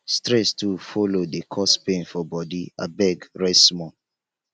stress too folo dey cause pain for bodi abeg rest small